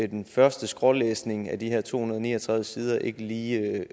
den første skrålæsning af de her to hundrede og ni og tredive sider ikke lige